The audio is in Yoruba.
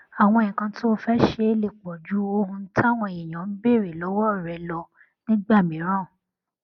àwọn nǹkan tó o fé ṣe lè pò ju ohun táwọn èèyàn ń béèrè lówó rẹ lọ nígbà mìíràn